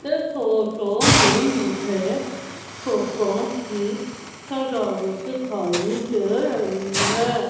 इस फोटो में मुझे फुग्गो की सजावट दिखाइ दे रही है।